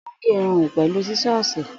Ò ń gé irun rẹ pẹ̀lú sísọ́ọ̀sì.